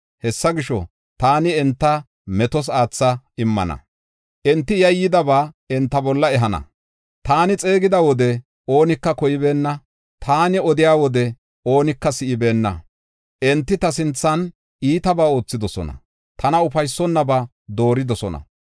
Hessa gisho, taani enta metos aatha immana; enti yayyidaba enta bolla ehana. Taani xeegida wode oonika koybeenna; taani odiya wode oonika si7ibeenna. Enti ta sinthan iitabaa oothidosona; tana ufaysonnaba dooridosona.